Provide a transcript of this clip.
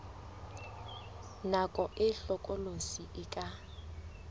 nako e hlokolosi e ka